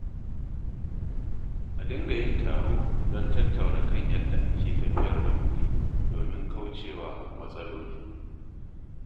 A dinga yin taro don tattaunawa kan yadda ake tafiyar da kuɗi domin kauce wa matsaloli.